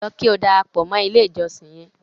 Lọ kí o darapọ mọ ilẹ̀ ìjọ̀ṣìn yẹn!